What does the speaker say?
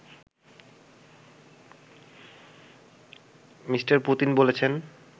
Me. Putin বলেছেন